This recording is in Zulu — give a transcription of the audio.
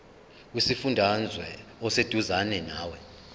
kusifundazwe oseduzane nawe